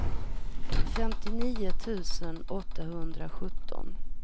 femtionio tusen åttahundrasjutton